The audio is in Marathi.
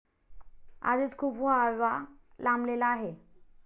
आधीच खूप व्हायवा लांबलेला आहे.